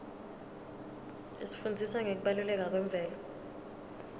isifundzisa ngekubaluleka kwemvelo